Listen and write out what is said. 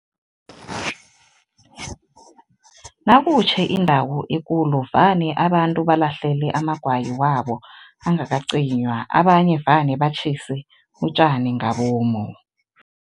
Nakutjhe indawo ekulu, vane abantu balahlele amagwayi wabo angakacinywa, abanye vane batjhise utjani ngabomu.